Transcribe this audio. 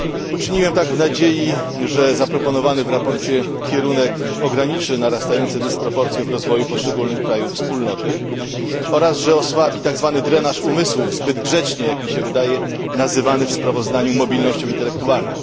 Uczyniłem tak w nadziei, że zaproponowany w sprawozdaniu kierunek ograniczy narastające dysproporcje w rozwoju poszczególnych krajów Unii, oraz że osłabi tzw. drenaż umysłów, zbyt grzecznie, jak mi się wydaje, nazywany w sprawozdaniu mobilnością intelektualną.